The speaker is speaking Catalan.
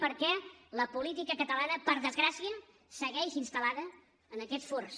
perquè la política catalana per desgràcia segueix instal·lada en aquests furs